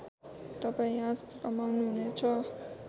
तपाईँ यहाँ रमाउनुहुनेछ